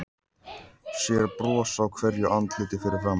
Sér bros á hverju andliti fyrir framan sig.